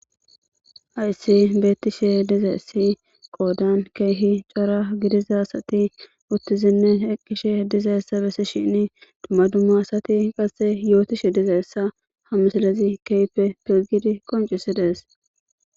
Haysse beetishe dizayssi qoodan keehi chora gidiza asati utizine eqishe dizaysa besishene dumma dumma asati qase yootishe dizsyssa kehipe loytidi qoncisides.